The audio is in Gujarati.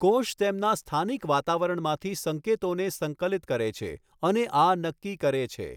કોષ તેમના સ્થાનિક વાતાવરણમાંથી સંકેતોને સંકલિત કરે છે અને આ નક્કી કરે છે.